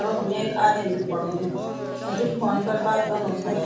अर वखम ऐक आदिम बि खडू हुयूं अ जु फोन फर बात कनु शायद।